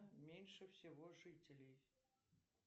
меньше всего жителей